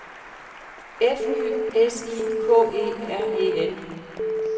F Y S I K E R E N